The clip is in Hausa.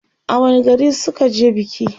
a wani gari suka je biki?